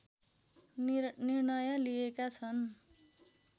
निर्णय लिएका छन्